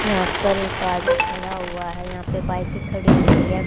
यहां पर एक आदमी खड़ा हुआ है यहां पे बाइकें खड़ी हुई है।